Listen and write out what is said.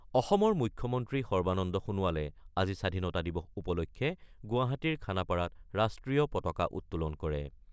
অসমৰ মুখ্যমন্ত্ৰী সৰ্বানন্দ সোণোৱালে আজি স্বাধীনতা দিৱস উপলক্ষে গুৱাহাটীৰ খানাপাৰাত ৰাষ্ট্ৰীয় পতাকা উত্তোলন কৰে।